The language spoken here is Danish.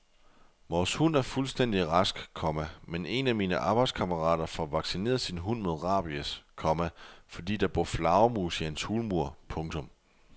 Vores hund er fuldstændig rask, komma men en af mine arbejdskammerater får vaccineret sin hund mod rabies, komma fordi der bor flagermus i hans hulmur. punktum